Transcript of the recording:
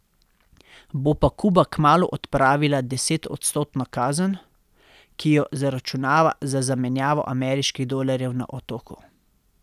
Bo pa Kuba kmalu odpravila desetodstotno kazen, ki jo zaračunava za zamenjavo ameriških dolarjev na otoku.